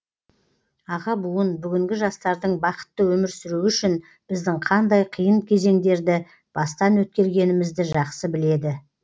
аға буын бүгінгі жастардың бақытты өмір сүруі үшін біздің қандай қиын кезеңдерді бастан өткергенімізді жақсы біледі